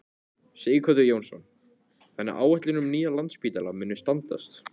Sighvatur Jónsson: Þannig að áætlanir um nýjan Landspítala munu standast?